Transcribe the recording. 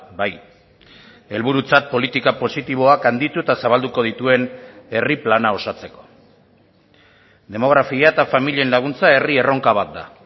bai helburutzat politika positiboak handitu eta zabalduko dituen herri plana osatzeko demografia eta familien laguntza herri erronka bat da